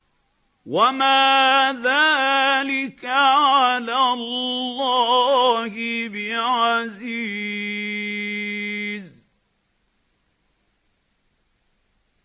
وَمَا ذَٰلِكَ عَلَى اللَّهِ بِعَزِيزٍ